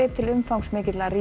til umfangsmikilla